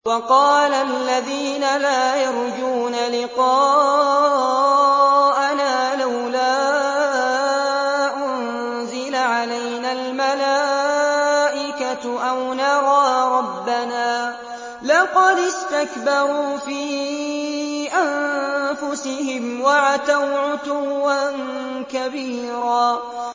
۞ وَقَالَ الَّذِينَ لَا يَرْجُونَ لِقَاءَنَا لَوْلَا أُنزِلَ عَلَيْنَا الْمَلَائِكَةُ أَوْ نَرَىٰ رَبَّنَا ۗ لَقَدِ اسْتَكْبَرُوا فِي أَنفُسِهِمْ وَعَتَوْا عُتُوًّا كَبِيرًا